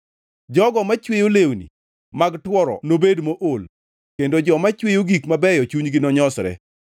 Jogo machweyo lewni mag tworo nobed mool kendo joma chweyo gik mabeyo chunygi nonyosre.